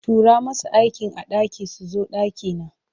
Turo masu aikin a ɗaki su zo ɗakina.